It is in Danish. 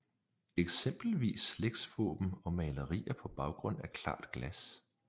Eksempelvis slægtsvåben og malerier på baggrund af klart glas